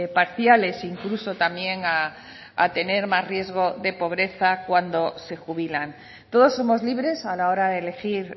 parciales incluso también a tener más riesgo de pobreza cuando se jubilan todos somos libres a la hora de elegir